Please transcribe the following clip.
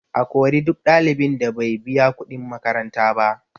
A kori duk ɗalibin da bai biya kuɗin makaranta ba